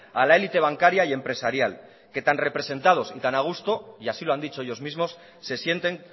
a la élite bancaria y empresarial que tan representados y tan a gusto y así lo han dicho ellos mismos se sienten